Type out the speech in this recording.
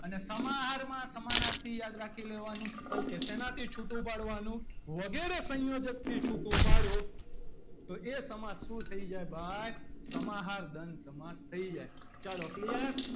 અને સમાહાર માં સમાનાર્થી યાદ રાખી લેવાનું ok શેનાથી છૂટું પાડવાનું વગેરે સંયોજકથી છૂટું પાડો તો એ સમાસ શું થઈ જાય ભાઈ સમાહાર દ્વંદ સમાસ થઈ જાય ચલો clear